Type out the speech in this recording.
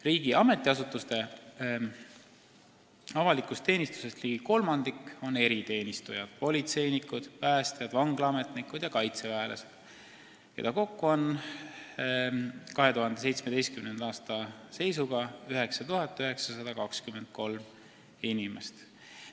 Riigi ametiasutuste avaliku teenistuse personalist ligi kolmandiku moodustavad eriteenistujad – politseinikud, päästjad, vanglaametnikud ja kaitseväelased –, keda kokku oli 2017. aasta seisuga 9923 inimest.